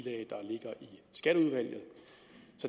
skatteudvalget